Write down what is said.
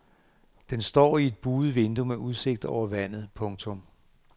Den står i et buet vindue med udsigt over vandet. punktum